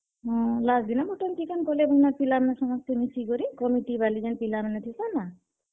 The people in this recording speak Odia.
ହୁଁ, last ଦିନ ମଟନ୍, ଚିକେନ୍ କଲେ ହେନର୍ ପିଲା ମାନେ ସମସ୍ତେ ମିଶିକରି ଯେନ୍ ପିଲା ମାନେ ଥିସନ୍ ନା।